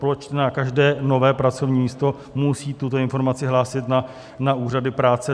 Proč na každé nové pracovní místo musí tuto informaci hlásit na úřady práce?